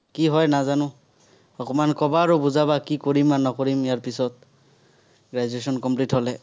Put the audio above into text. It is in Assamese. কি হয় নাজানো। অকণমান কবা আৰু বুজাবা, কি কৰিম আৰু নকৰিম ইয়াৰ পিছত। graduation complete হ'লে।